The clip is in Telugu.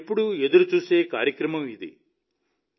నేను ఎప్పుడూ ఎదురుచూసే కార్యక్రమమిది